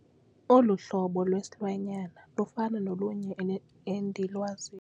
Olu hlobo lwesilwanyana lufana nolunye endilwaziyo.